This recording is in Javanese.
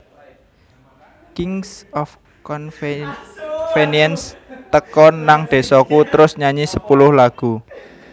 Kings of Convenience teka nang desoku trus nyanyi sepuluh lagu